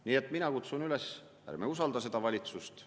Nii et mina kutsun üles: ärme usaldame seda valitsust.